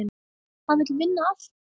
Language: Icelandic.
Hann vill vinna allt.